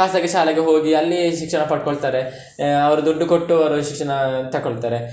ಖಾಸಗಿ ಶಾಲೆಗೆ ಹೋಗಿ ಅಲ್ಲಿ ಶಿಕ್ಷಣ ಪಡ್ಕೊಳ್ತಾರೆ, ಆಹ್ ಅವ್ರು ದುಡ್ಡು ಕೊಟ್ಟು ಅವ್ರವ್ರ ಶಿಕ್ಷಣ ತಕೊಳ್ತಾರೆ.